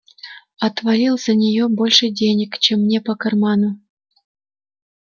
отвалил за неё больше денег чем мне по карману